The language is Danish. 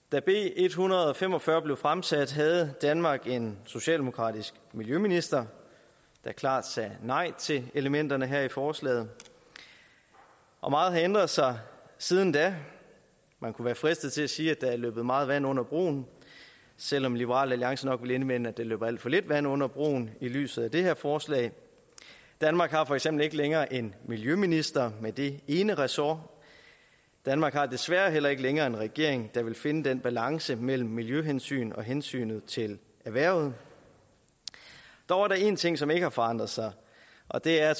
da b en hundrede og fem og fyrre blev fremsat havde danmark en socialdemokratisk miljøminister der klart sagde nej til elementerne her i forslaget og meget har ændret sig siden da man kunne være fristet til at sige at der er løbet meget vand under broen selv om liberal alliance nok vil indvende at der løber alt for lidt vand under broen i lyset af det her forslag danmark har for eksempel ikke længere en miljøminister med det ene ressort danmark har desværre heller ikke længere en regering der vil finde den rigtige balance mellem miljøhensyn og hensynet til erhvervet dog er der en ting som ikke har forandrer sig og det er